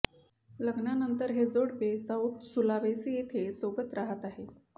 लग्नानंतर हे जोडपे साउथ सुलावेसी येथे सोबत राहत आहे